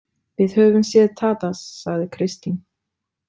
Við höfum séð Tadas, sagði Kristín.